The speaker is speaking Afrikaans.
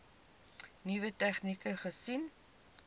nuwe tegnieke gesien